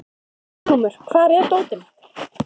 Hildiglúmur, hvar er dótið mitt?